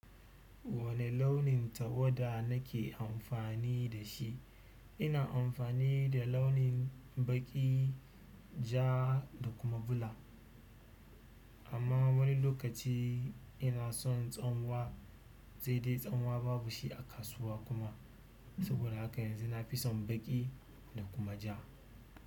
Wane launin tawada nake amfani da shi? Ina amfani da launin baƙi, ja da kuma bula. Amma wani lokaci ina son tsanwa, sai dai tsanwa babu shi a kasuwa kuma. Saboda haka yanzu nafi son baƙi da kuma ja.